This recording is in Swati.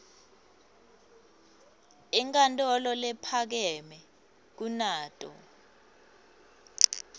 inkantolo lephakeme kunato